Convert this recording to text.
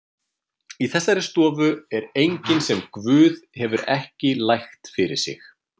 Í þessari stofu er enginn sem Guð hefur ekki lægt sig fyrir.